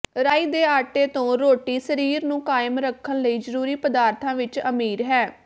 ਰਾਈ ਦੇ ਆਟੇ ਤੋਂ ਰੋਟੀ ਸਰੀਰ ਨੂੰ ਕਾਇਮ ਰੱਖਣ ਲਈ ਜ਼ਰੂਰੀ ਪਦਾਰਥਾਂ ਵਿਚ ਅਮੀਰ ਹੈ